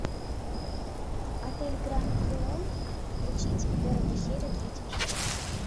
отель гранд элеон включить первую серию третьего сезона